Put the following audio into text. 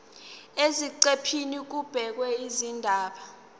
eziqephini kubhekwe izindaba